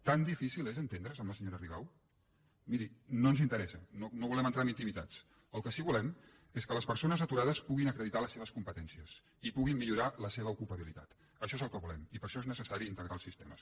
tan difícil és entendre’s amb la senyora rigau miri no ens interessa no volem entrar en intimitats el que sí que volem és que les persones aturades puguin acreditar les seves competències i puguin millorar la seva ocupabilitat això és el que volem i per a això és necessari integrar els sistemes